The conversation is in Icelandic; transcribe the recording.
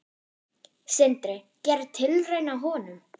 Sindri: Gera tilraun á honum?